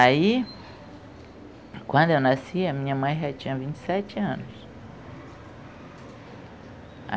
Aí, quando eu nasci, a minha mãe já tinha vinte e sete anos.